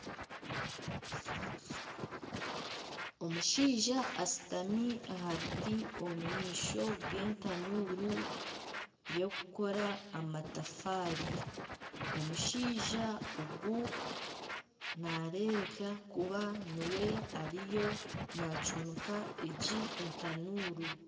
Omushaija ashutami aha biti omu maisho g'etanuuru y'okukora amatafaari, omushaija ogu nareebeka kuba niwe ariyo nacuumika egi etanuuru.